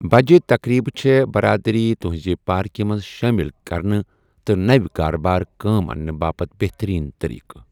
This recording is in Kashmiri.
بجہِ تقریبہٕ چھے٘ برادری تٗہنزِ پاركہِ منز شٲمِل كرنہٕ تہٕ نٕو كابٲرِ كٲم اننہٕ باپت بہترین طریقہٕ ۔